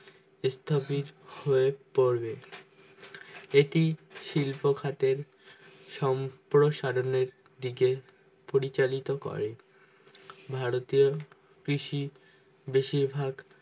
ইত্যাদির help পর্বে এত শিল্প কাদের সম্পসারণের দিকে পরিচালিত করে ভারতীয় কৃষি বেশির ভাগ